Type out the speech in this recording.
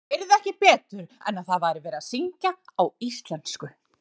Hann heyrði ekki betur en að það væri verið að syngja á íslensku.